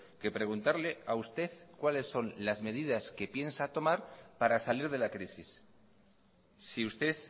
que preguntarle a usted cuáles son las medidas que piensa tomar para salir de la crisis si usted